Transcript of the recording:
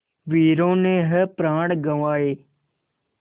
वीरों ने है प्राण गँवाए